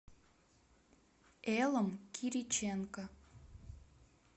элом кириченко